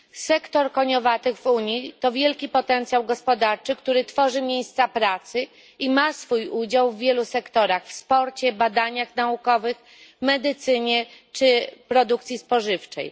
Sektor koniowatych w Unii to wielki potencjał gospodarczy, który tworzy miejsca pracy i ma swój udział w wielu sektorach w sporcie, badaniach naukowych, medycynie czy produkcji spożywczej.